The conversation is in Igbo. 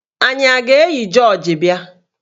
Anyị a ga-eyi jọọji bịa?